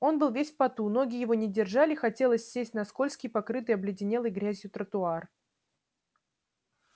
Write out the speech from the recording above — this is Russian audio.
он был весь в поту ноги его не держали хотелось сесть на скользкий покрытый обледенелой грязью тротуар